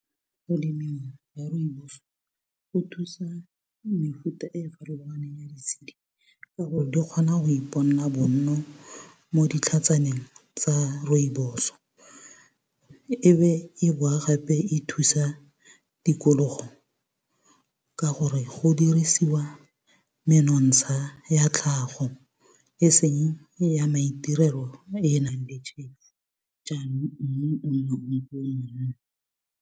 Go lemiwa ga rooibos go thusa mefuta e e farologaneng ya ditshedi, ka gore di kgona go ipona bo nno mo ditlhatsaneng tsa rooibos. E be e boa gape e thusa tikologo ka gore, go dirisiwa menontsha ya tlhago, eseng ya maitirelo e enang le tšhefu jaanong mmu .